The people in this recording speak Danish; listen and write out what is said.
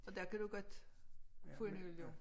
Og der kan du godt få en øl jo